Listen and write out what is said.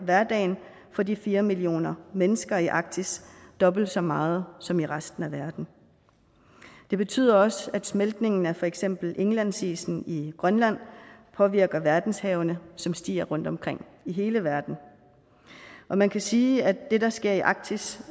hverdagen for de fire millioner mennesker i arktis dobbelt så meget som i resten af verden det betyder også at smeltningen af for eksempel indlandsisen i grønland påvirker verdenshavene som stiger rundtomkring i hele verden man kan sige at det der sker i arktis